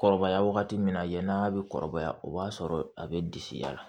Kɔrɔbaya wagati min na yann'a bɛ kɔrɔbaya o b'a sɔrɔ a bɛ disi yɛl na